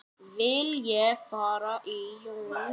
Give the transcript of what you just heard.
Vil ég fara í júní?